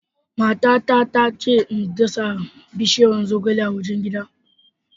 Matata ta ce in dasa bishiyar zogale a wajen gida.